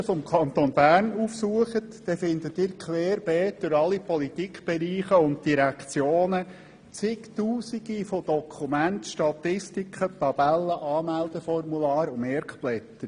Wenn Sie die Website des Kantons Bern besuchen, so finden Sie querbeet durch alle Politikbereiche und Direktionen zig Tausend Dokumente, Statistiken, Tabellen, Anmeldeformulare und Merkblätter.